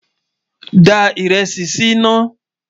dá írèsì sí nà